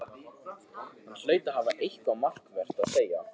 Hann hlaut að hafa eitthvað markvert að segja.